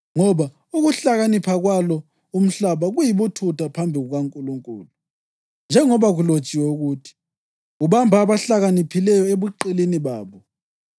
Ngoba ukuhlakanipha kwalo umhlaba kuyibuthutha phambi kukaNkulunkulu. Njengoba kulotshiwe ukuthi: “Ubamba abahlakaniphileyo ebuqilini babo,” + 3.19 UJobe 5.13